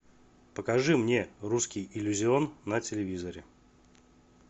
покажи мне русский иллюзион на телевизоре